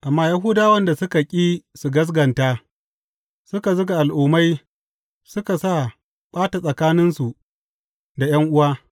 Amma Yahudawan da suka ƙi ba da gaskata, suka zuga Al’ummai suka sa ɓata tsakaninsu da ’yan’uwa.